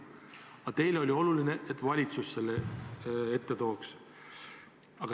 Aga teile oli oluline, et valitsus selle siia tooks.